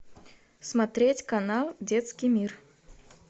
смотреть канал детский мир